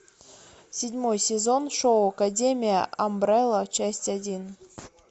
седьмой сезон шоу академия амбрелла часть один